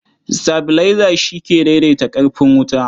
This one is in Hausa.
Sitabilaiza shi ke daidaita ƙarfin wuta.